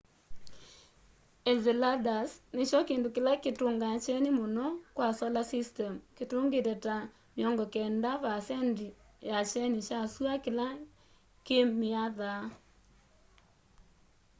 enceladus nikyo kindu kila kitungaa kyeni muno kwa solar system kitungite ta 90 vaasendi ya kyeni kya sua kila kimiathaa